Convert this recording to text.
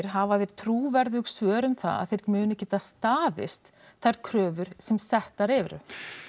hafa þeir trúverðug svör um það að þeir muni geta staðist þær kröfur sem settar eru